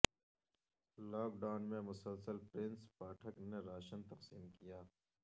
lock down میں مسلسل پرنس پاٹھک نے راشن تقسیم کیا